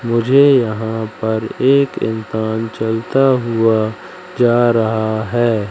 मुझे यहां पर एक इंसान चलता हुआ जा रहा है।